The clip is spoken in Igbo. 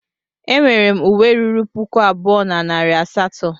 E nwere m uwe ruru puku abụọ na narị asatọ.